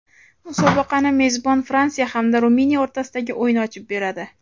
Musobaqani mezbon Fransiya hamda Ruminiya o‘rtasidagi o‘yin ochib beradi.